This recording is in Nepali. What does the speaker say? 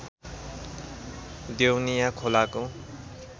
देउनिया खोलाको